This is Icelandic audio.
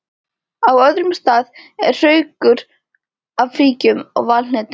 Á öðrum stað eru hraukar af fíkjum og valhnetum.